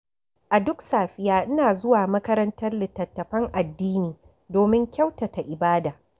A duk safiya ina zuwa makarantar littattafan addini domin kyautata ibada.